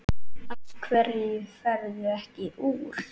Af hverju ferðu ekki úr?